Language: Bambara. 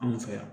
An fɛ yan